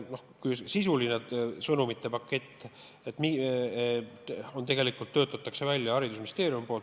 Sisuline sõnumite pakett töötatakse välja haridusministeeriumis.